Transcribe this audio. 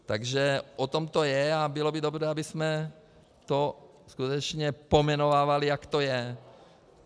Takže o tom to je a bylo by dobře, abychom to skutečně pojmenovávali, jak to je.